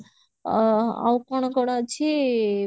ଅ ଆଉ କଣ କଣ ଅଛି